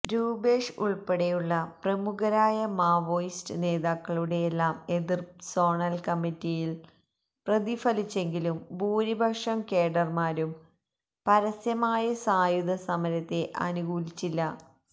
രൂപേഷ് ഉൾപ്പെടെയുള്ള പ്രമുഖരായ മാവോയിസ്റ്റ് നേതാക്കളുടെയെല്ലാം എതിർപ്പ് സോണൽ കമ്മിറ്റിയിൽ പ്രതിഫലിച്ചെങ്കിലും ഭൂരിപക്ഷം കേഡർമാരും പരസ്യമായ സായുധസമരത്തെ അനുകൂലിച്ചില്ല